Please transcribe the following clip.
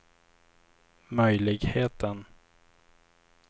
möjligheten